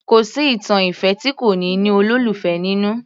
Kò sí ìtàn ìfẹ́ tí kò ní ní olólùfẹ́ nínú